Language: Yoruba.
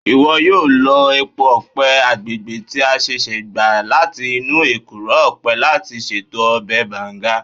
Iwọ yoo lo epo ọpẹ agbegbe ti a ṣẹṣẹ gba lati inu ekuro ọpẹ lati ṣeto ọbẹ Banga.